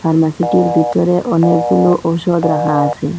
ফার্মাসিটির ভিতরে অনেকগুলো ঔষধ রাহা আসে।